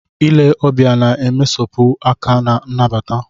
Ile ọbịa na-emesapụ aka na nnabata.